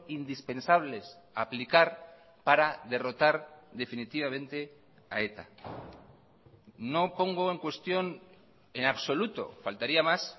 indispensables aplicar para derrotar definitivamente a eta no pongo en cuestión en absoluto faltaría más